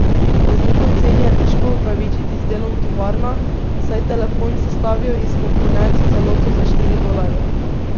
Razliko v ceni je težko upravičiti z delom v tovarnah, saj telefon sestavijo iz komponent v celoto za štiri dolarje.